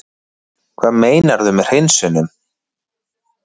Hvað meinarðu með hreinsunum?